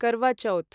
curve Chauth